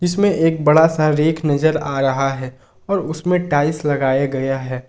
इसमें एक बड़ा आ रेख नज़र आ रहा है और उसमें टाइल्स लगाए गया है।